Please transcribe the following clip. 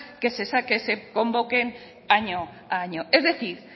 que se convoquen año a año es decir